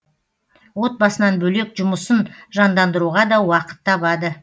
отбасынан бөлек жұмысын жандандыруға да уақыт табады